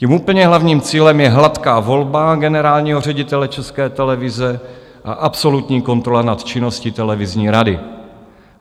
Tím úplně hlavním cílem je hladká volba generálního ředitele České televize a absolutní kontrola nad činností televizní rady.